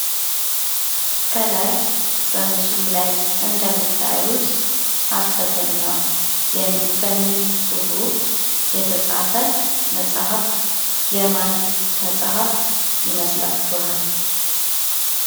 ከላይ በምስሉ ላይ እንደምታዩት ሀሰተኛ በሚል ፁህፍ ውስጥ የተፃፈ መፃህፍት የማን መፃፍ ይመስላችኋል?